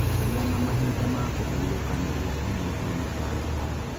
Gĩa na mahinda ma kũhurũka nĩguo ũnyihie mĩtangĩko.